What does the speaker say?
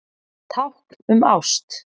Tákn um ást